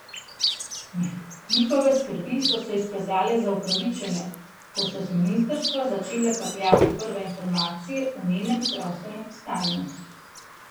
Njihove skrbi so se izkazale za upravičene, ko so z ministrstva začele kapljati prve informacije o njenem zdravstvenem stanju.